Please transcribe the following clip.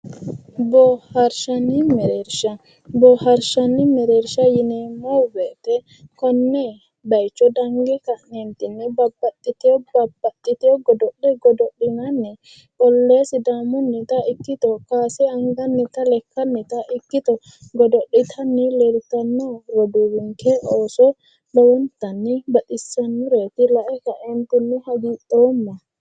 Boohaarranni mereersha. Boohaarshanni mereersha yineemmo woyite konne bayicho dange ka'neentinni babbaxxitiwo godo'le godo'litanni ollohe sidaamunnita ikkito kaase angannita lekkannita ikkito godo'litanni leeltanno roduuwinke ooso lowontanni baxisannoreeti. Laentinni hagiidhoomma.